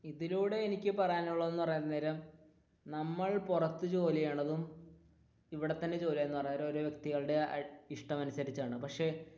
ഇതിലൂടെ എനിക്ക് പറയാനുള്ളത് എന്ന് പറയാൻ നേരം നമ്മൾ പുറത്തു ജോലി ചെയ്യുന്നതും പക്ഷെ